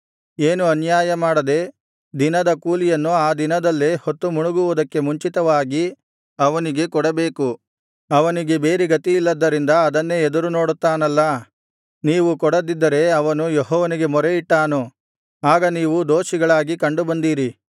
ಏನೂ ಅನ್ಯಾಯಮಾಡದೆ ದಿನದ ಕೂಲಿಯನ್ನು ಆ ದಿನದಲ್ಲೇ ಹೊತ್ತುಮುಣುಗುವುದಕ್ಕೆ ಮುಂಚಿತವಾಗಿ ಅವನಿಗೆ ಕೊಡಬೇಕು ಅವನಿಗೆ ಬೇರೆ ಗತಿಯಿಲ್ಲದ್ದರಿಂದ ಅದನ್ನೇ ಎದುರುನೋಡುತ್ತಾನಲ್ಲಾ ನೀವು ಕೊಡದಿದ್ದರೆ ಅವನು ಯೆಹೋವನಿಗೆ ಮೊರೆಯಿಟ್ಟಾನು ಆಗ ನೀವು ದೋಷಿಗಳಾಗಿ ಕಂಡುಬಂದೀರಿ